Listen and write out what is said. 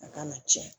A ka na cɛn